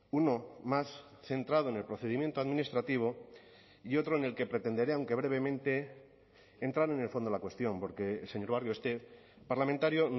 uno más centrado en el procedimiento administrativo y otro en el que pretenderé aunque brevemente entrar en el fondo de la cuestión porque señor barrio este parlamentario